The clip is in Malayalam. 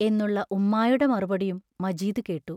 എന്നുള്ള ഉമ്മായുടെ മറുപടിയും മജീദ് കേട്ടു.